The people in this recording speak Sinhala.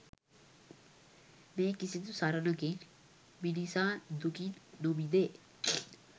මේ කිසිදු සරණකින් මිනිසා දුකින් නොමිදේ.